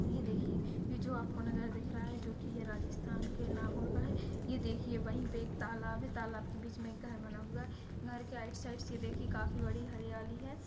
ये देखिए ये जो अपको नजारा दिख रहा हेे जोकि ये राजस्थान के नागाेेर का हेे ये देखिए वही पे एक तालाब हेे तालाब के बीच मे एक घर बना हुआ है घर के राइट साइड से देखिये काफी बड़ी हरयाली हेे।